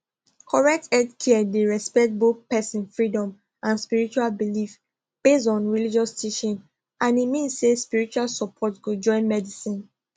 correct healthcare dey respect both person freedom and spiritual belief based on religious teaching and e mean say spiritual support go join medicine